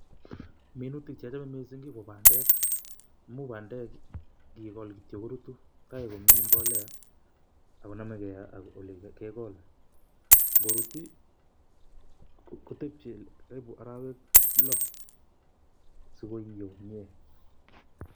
minutik che achamei ko bandek, amuu bandek ngikool kityo korutu tai komii mbolea ak konamegei ak ole kegol. Ngorut i kotebjei karibu araek lo so koiyoo komiee.